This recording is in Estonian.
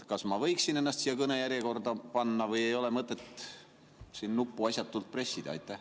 Kas ma võiksin ennast siia kõnejärjekorda panna või ei ole mõtet siin seda nuppu asjatult pressida?